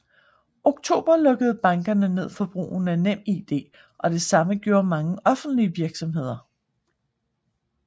Oktober lukkede bankerne ned for brugen af NemID og det samme gjorde mange offentlige virksomheder